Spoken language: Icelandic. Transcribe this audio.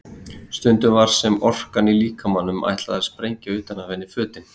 Stundum var sem orkan í líkamanum ætlaði að sprengja utan af henni fötin.